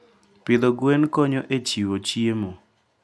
Pidho gwen konyo e chiwo chiemo.